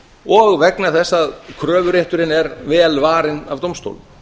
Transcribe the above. og vegna þess að kröfurétturinn er vel varinn af dómstólum